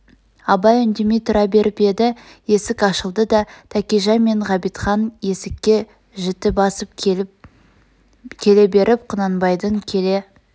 абай үндемей тұра беріп еді есік ашылды да тәкежан мен ғабитхан есікке жіті басып келе беріп құнанбайдың келе